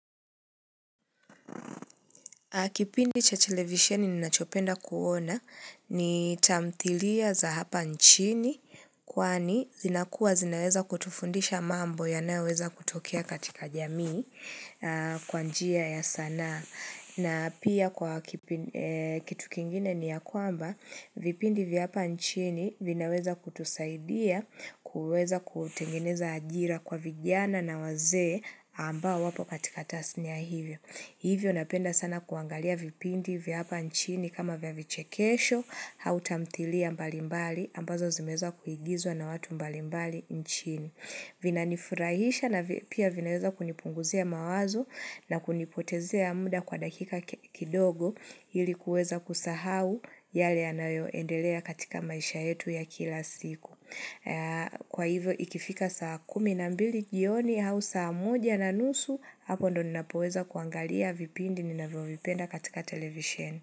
Kipindi cha televisiheni ninachopenda kuona ni tamthilia za hapa nchini kwani zinakua zinaweza kutufundisha mambo ya naweza kutokia katika jamii kwanjia ya sanaa. Na pia kwa kitu kingine ni ya kwamba vipindi vya hapa nchini vinaweza kutusaidia kuweza kutengeneza ajira kwa vijana na wazee ambao wapo katika tasnia hivyo. Hivyo napenda sana kuangalia vipindi vya hapa nchini kama vya vichekesho hau tamtilia mbalimbali ambazo zimezwa kuigizwa na watu mbalimbali nchini. Vinanifurahisha na pia vinaweza kunipunguzia mawazo na kunipotezea muda kwa dakika kidogo hili kuweza kusahau yale anayoendelea katika maisha yetu ya kila siku. Kwa hivyo ikifika saa kumi na mbili jioni au saa moja na nusu hapo ndo ninapoweza kuangalia vipindi ninavyo vipenda katika televisheni.